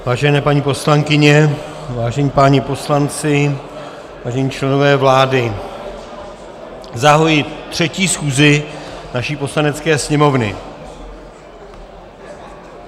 Vážené paní poslankyně, vážení páni poslanci, vážení členové vlády, zahajuji třetí schůzi naší Poslanecké sněmovny.